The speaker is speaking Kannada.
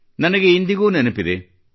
ನನಗೆ ಇಂದಿಗೂ ನೆನಪಿದೆ